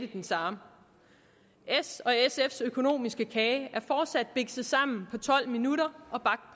den samme s og sf’s økonomiske kage er fortsat bikset sammen på tolv minutter